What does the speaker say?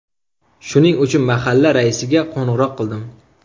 Shuning uchun mahalla raisiga qo‘ng‘iroq qildim.